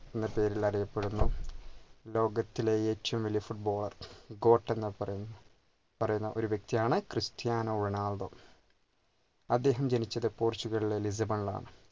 എന്ന പേരിൽ അറിയപ്പെടുന്നു ലോകത്തിലെ ഏറ്റവും വലിയ footballerGOAT എന്ന് പറയും പറയുന്ന ഒരു വൃക്തിയാണ് ക്രിസ്റ്റ്യാനോ റൊണാൾഡോ അദ്ദേഹം ജനിച്ചത് portuguese ലെ ലിസ്ബണിൽ ആണ്